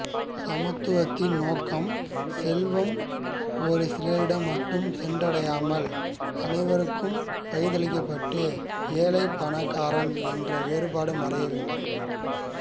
சமத்துவத்தின் நோக்கம் செல்வம் ஒரு சிலரிடம் மட்டும் சென்றடையாமல் அனைவருக்கும் பகிர்ந்தளிக்கப்பட்டு ஏழை பணக்காரன் என்ற வேறுபாடு மறைய வேண்டும்